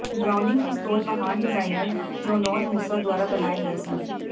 Browning ਪਿਸਤੌਲ ਮਹਾਨ designer John Moses ਦੁਆਰਾ ਬਣਾਏ ਗਏ ਸਨ